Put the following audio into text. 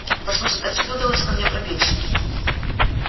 послушай как тебе удалось ко мне пробиться